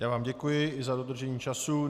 Já vám děkuji i za dodržení času.